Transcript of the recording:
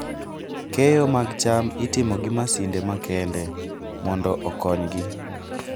Keyo mag cham itimo gi masinde makende mondo okonygi.